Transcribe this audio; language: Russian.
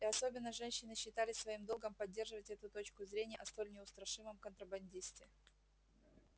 и особенно женщины считали своим долгом поддерживать эту точку зрения о столь неустрашимом контрабандисте